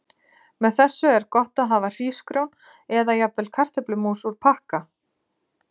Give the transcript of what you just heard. Með þessu er gott að hafa hrísgrjón eða jafnvel kartöflu mús úr pakka.